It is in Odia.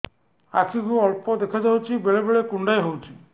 ଆଖି କୁ ଅଳ୍ପ ଦେଖା ଯାଉଛି ବେଳେ ବେଳେ କୁଣ୍ଡାଇ ହଉଛି